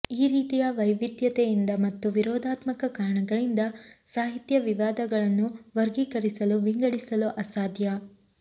ಈ ರೀತಿಯ ವೈವಿಧ್ಯತೆಯಿಂದ ಮತ್ತು ವಿರೋಧಾತ್ಮಕ ಕಾರಣಗಳಿಂದ ಸಾಹಿತ್ಯ ವಿವಾದಗಳನ್ನು ವರ್ಗೀರಿಸಲು ವಿಂಗಡಿಸಲು ಅಸಾಧ್ಯ